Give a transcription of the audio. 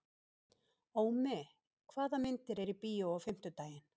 Ómi, hvaða myndir eru í bíó á fimmtudaginn?